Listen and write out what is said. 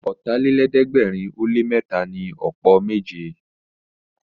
Ọ̀tàlélẹ̀ẹ́dẹ́gbẹ̀rin ó lé mẹ́ta ni ọ̀pọ̀ méje